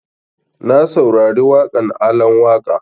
Na saurari waƙan Alan Waƙa